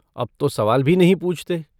अब तो सवाल भी नहीं पूछते।